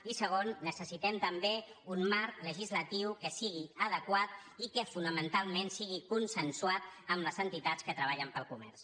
i segon necessitem també un marc legislatiu que sigui adequat i que fonamentalment sigui consensuat amb les entitats que treballen per al comerç